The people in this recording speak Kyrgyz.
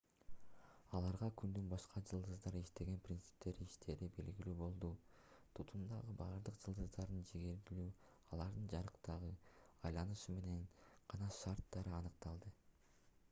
аларга күндүн башка жылдыздар иштеген принциптерде иштээри белгилүү болду тутумдагы бардык жылдыздардын жигердүүлүгү алардын жарыктыгы айланышы менен гана шартталары аныкталды